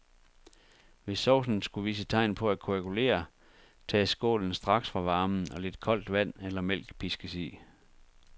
Hvis saucen skulle vise tegn på at koagulere, tages skålen straks fra varmen, og lidt koldt vand eller mælk piskes i.